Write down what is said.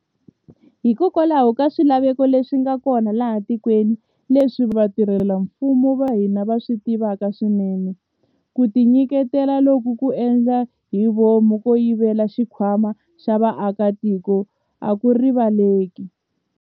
Hikokwalaho ka swilaveko leswi nga kona laha etikweni, leswi vatirhela mfumo va hina va swi tivaka swinene, ku tinyiketela loku ko endla hi vomu ko yivela xikhwama xa vaaki a ku riva leleki.